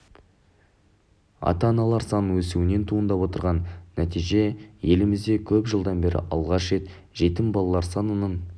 ата-аналар санының өсуінен туындап отырған нәтиже елімізде көп жылдан бері алғаш рет жетім балалар санының